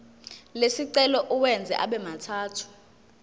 lesicelo uwenze abemathathu